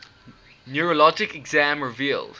neurologic exam revealed